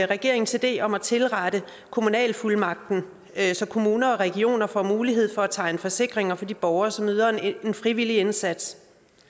regeringens idé om at tilrette kommunalfuldmagten så kommuner og regioner får mulighed for at tegne forsikringer for de borgere som yder en frivillig indsats